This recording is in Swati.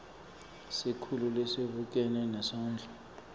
sikhulu lesibukene nesondlo